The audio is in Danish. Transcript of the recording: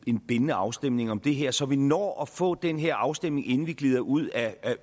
en bindende afstemning om det her så vi når at få den her afstemning inden vi glider ud af